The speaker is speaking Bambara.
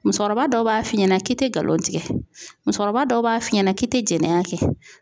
Musokɔrɔba dɔw b'a f'i ɲɛna k'i te galon tigɛ, musokɔrɔba dɔw b'a f'i ɲɛna k'i te jɛnɛya kɛ .